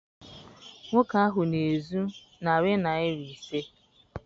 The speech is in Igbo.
Nwoke ahụ na-ezu narị naịra ise.